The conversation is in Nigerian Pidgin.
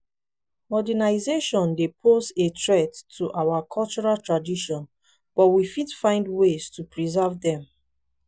modernization dey pose a threat to our cultural traditions but we fit find ways to preserve dem.